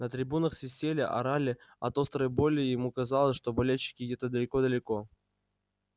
на трибунах свистели орали от острой боли ему казалось что болельщики где-то далеко-далеко